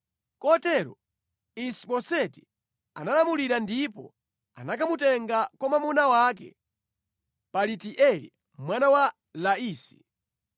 Kotero Isi-Boseti analamulira ndipo anakamutenga kwa mwamuna wake Palitieli mwana wa Laisi.